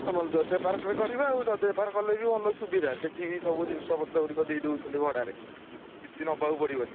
ହଁ ନହେଲେ ଜୟଦେବ park ରେ କରିବା, ଆଉ ଜୟଦେବ park ରେ କଲେ ବି ଭଲ ସୁବିଧା| ସେଠି ବି ସବୁ ଜିନିଷ ପତ୍ର ଗୁଡିକ ଦେଇଦଉଛନ୍ତି ଭଡାରେ, କିଛି ନବାକୁ ପଡ଼ିବନି।